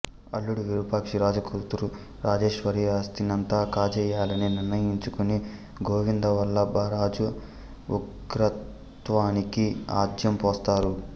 అల్లుడు విరూపాక్షి రాజా కూతురు రాజేశ్వరి ఆస్తినంతా కాజేయాలని నిర్ణయించుకుని గోవిందవల్లభరాజా ఉగ్రత్వానికి ఆజ్యం పోస్తారు